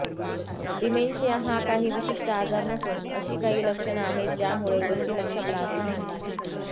dementia हा काही विशिष्ट आजार नसून अशी काही लक्षणं आहेत ज्यामुळे गोष्टी लक्षात राहत नाहीत